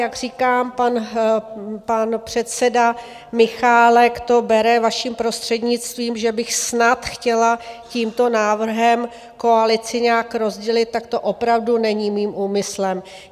Jak říkám, pan předseda Michálek to bere, vaším prostřednictvím, že bych snad chtěla tímto návrhem koalici nějak rozdělit, tak to opravdu není mým úmyslem.